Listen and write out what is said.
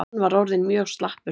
Hann var orðinn mjög slappur.